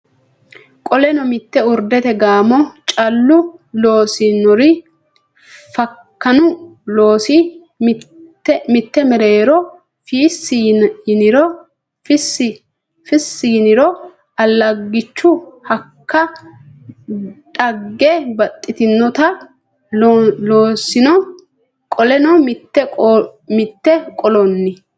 Qoleno mitte urdete gaamo callu loosinori fakkanu loosi mitte mereero Fiissi yiniro allaggichu hakka dhagge baxxitinota loosino Qoleno mitte Qoleno.